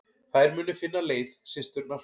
Þær muni finna leið, systurnar.